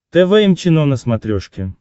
тэ вэ эм чено на смотрешке